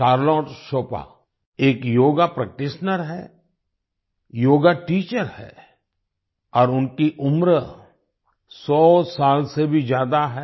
Charlotte Chopra Charlotte Chopra एक yoga practitioner हैं yoga teacher है और उनकी उम्र 100 साल से भी ज्यादा है